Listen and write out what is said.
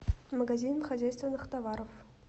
магазин хозяйственных товаров